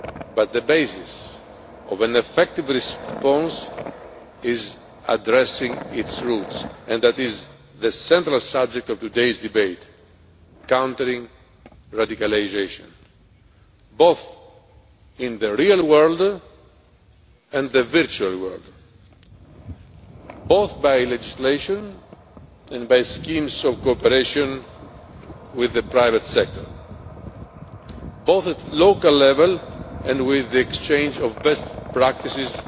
But the basis of an effective response is addressing its roots, and that is the central subject of today's debate countering radicalisation, both in the real world and the virtual world, both by legislation and through schemes of cooperation with the private sector, both at local level and with the exchange of best practices